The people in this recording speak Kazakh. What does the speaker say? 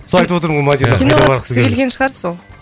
соны айтып отырмын ғой киноға түскісі келген шығар сол